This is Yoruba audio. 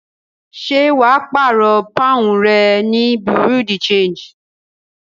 Ṣé wà á pààrọ̀ pọ́ùn rẹ ní bureau de change?